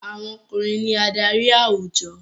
Àwọn ọkùnrin ní adarí àwùjọ.